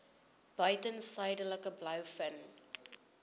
buiten suidelike blouvin